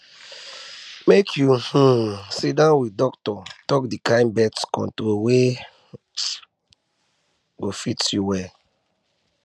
make you um sit down with doctor talk the kind birth control wey um go fit you well